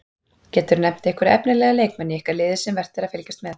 Geturðu nefnt einhverja efnilega leikmenn í ykkar liði sem vert er að fylgjast með?